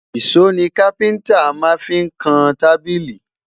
ìsọ ní kafinta fí má n kàn tábìlì